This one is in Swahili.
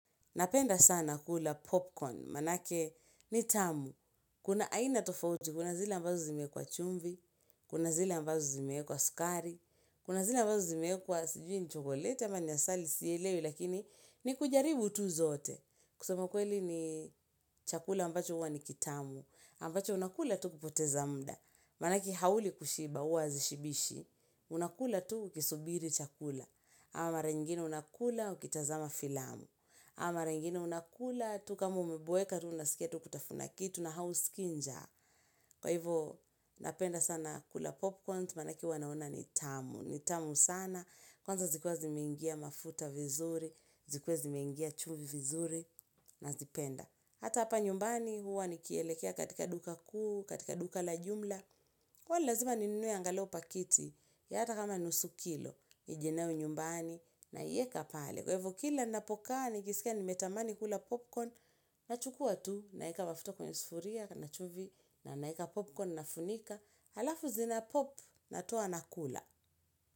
Napenda sana kula popcorn, manake ni tamu. Kuna aina tofauti. Kuna zile ambazo zimeekwa chumvi, kuna zile ambazo zimeekwa sukari, kuna zile ambazo zimeekwa sijui ni chokoleti, ama ni asali sielewe, lakini ni kujaribu tu zote. Kusema kweli ni chakula ambacho huwa ni kitamu, ambacho unakula tu kupoteza muda, manake hauli kushiba huwa zishibishi, unakula tu ukisubiri chakula, ama maraingine unakula ukitazama filamu, ama maraingine unakula, tu kama umeboeka, tu unasikia tu kutafuna kitu na hausikii njaa. Kwa hivyo, napenda sana kula popcorns, manake huwa naona ni tamu. Nitamu sana. Kwanza zikuwa zimeingia mafuta vizuri, zikuwa zimeingia chumvi vizuri, nazipenda. Hata apa nyumbani huwa nikielekea katika duka kuu, katika duka la jumla. Kwa hivyo, lazima ni nunue angaleo pakiti, ya hata kama nusu kilo, nije nayo nyumbani, na yieka pale. Kwa hivo kila napokaa, nikisikia nimetamani kula popcorn. Nachukua tu, naeka mafuto kwenye sufuria, na chumvi na naeka popcorn nafunika. Alafu zina pop natoa nakula.